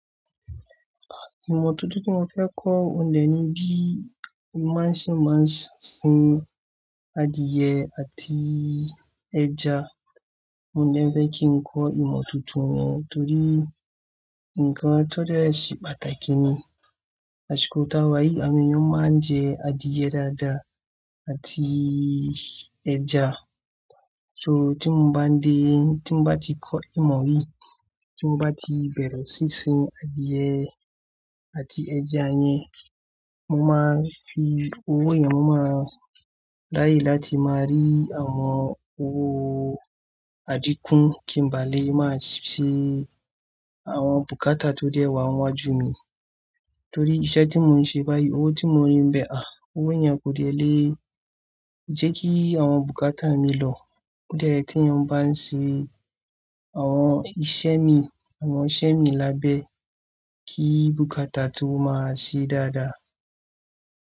Ìmọ̀ tuntun tí mo fẹ́ kọ́, òun dẹ̀ ni bí ma ṣe máa ń sin adìẹ àti ẹja. Òun dẹ̀ fẹ́ kí n kọ́ ìmọ̀ tuntun ni torí nǹkan tó dẹ́ ṣe pàtàkì ni. Àṣìkò táa wà yìí, làwọn èèyàn máa ń jẹ adìyẹ dáadáa àti ẹja. So tí mo bá dé, tí mo bá ti kọ́ ìmọ̀ yìí, tí mo bá ti bẹ̀rẹ̀ sí í sin adìẹ àti ẹja yẹn, mo máa fi owó yẹn, mo máa ráyè láti máa rí àwọn owó àdíkún kí n bá lè máa ṣe àwọn bùkátà tó dẹ́ wà ń'wájú mi. Torí iṣẹ́ tí mò ń ṣe báyìí, owó ti mò ń ri ńbẹ̀, owó yẹn kò dẹ̀ lè jẹ́ ki àwọn bùkátà mi lọ. Ó dẹ́ yẹ kéèyàn bá ń ṣe àwọn iṣẹ́ mi, àwọn iṣẹ́ mi lábẹ́ kí bùkátà tó máa ṣe dáadáa.